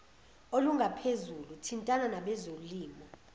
olungaphezulu thintana nabezolimo